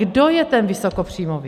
Kdo je ten vysokopříjmový?